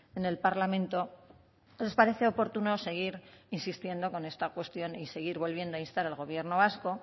en el parlamento nos parece oportuno seguir insistiendo con esta cuestión y seguir volviendo a instar al gobierno vasco